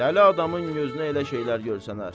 Dəli adamın gözünə elə şeylər görsənər.